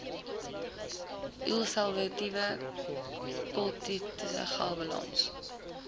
ulseratiewe kolitis galblaas